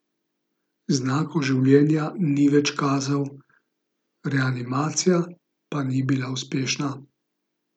Znakov življenja ni več kazal, reanimacija pa ni bila uspešna.